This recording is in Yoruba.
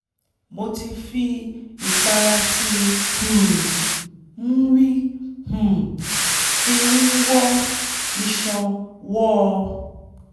mo ti fi ìpara tí um w´n um fi ń wọ́ iṣan wọọ́ ọ